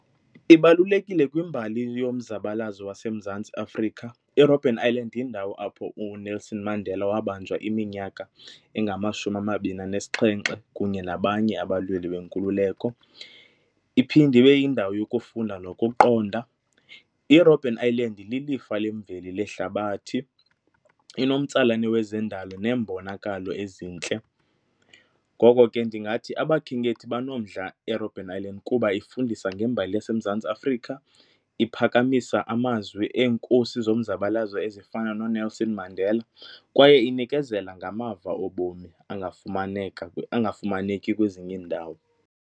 Ibalulekile kwimbali yomzabalazo waseMzantsi Afrika. IRobben Island yindawo apho uNelson Mandela wabanjwa iminyaka engamashumi amabini anesixhenxe kunye nabanye abalweli benkululeko, iphinde ibe yindawo yokufunda nokuqonda. IRobben Island lilifa lemveli lehlabathi, inomtsalane wezendalo neembonakalo ezintle. Ngoko ke ndingathi abakhenkethi banomdla ngeRobben Island kuba ifundisa ngembali yaseMzantsi aAfrika, iphakamisa amazwi eeNkosi zomzabalazo ezifana noNelson Mandela kwaye inikezela ngamava obomi angafumaneka, angafumaneki kwezinye iindawo.